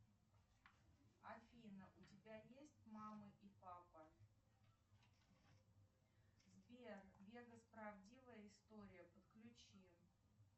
афина у тебя есть мама и папа сбер вегас правдивая история подключи